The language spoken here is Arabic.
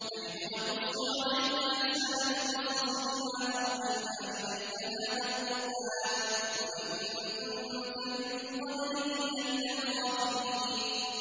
نَحْنُ نَقُصُّ عَلَيْكَ أَحْسَنَ الْقَصَصِ بِمَا أَوْحَيْنَا إِلَيْكَ هَٰذَا الْقُرْآنَ وَإِن كُنتَ مِن قَبْلِهِ لَمِنَ الْغَافِلِينَ